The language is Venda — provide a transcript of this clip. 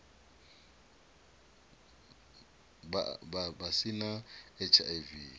vha a si na hiv